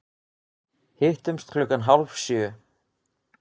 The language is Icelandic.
Hittumst klukkan hálf sjö.